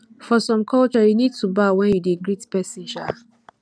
for some culture you need to bow when you dey greet person um